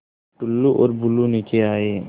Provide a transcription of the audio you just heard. टुल्लु और बुल्लु नीचे आए